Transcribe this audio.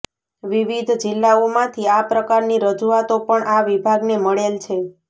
વિવિધ જિલ્લાઓમાંથી આ પ્રકારની રજુઆતો પણ આ વિભાગને મળેલ છે